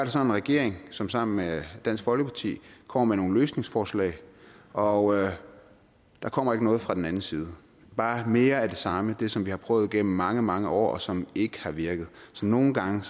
så en regering som sammen med dansk folkeparti kommer med nogle løsningsforslag og der kommer ikke noget fra den anden side det bare mere af det samme det som vi har prøvet gennem mange mange år og som ikke har virket så nogle gange